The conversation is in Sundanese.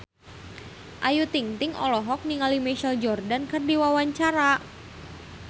Ayu Ting-ting olohok ningali Michael Jordan keur diwawancara